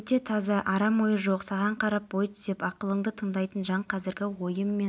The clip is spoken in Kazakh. өте таза арам ойы жоқ саған қарап бой түзеп ақылыңды тыңдайтын жан қазіргі ойым мен